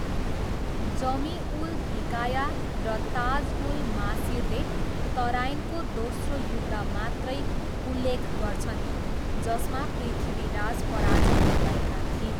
जमी उल हिकाया र ताज उल मासिरले तराइनको दोस्रो युद्ध मात्रै उल्लेख गर्छन्, जसमा पृथ्वीराज पराजित भएका थिए।